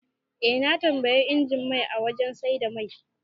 Eh, na tambayi injin mai a wajan saida mai